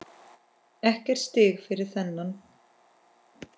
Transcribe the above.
Ekkert stig fyrir þennan.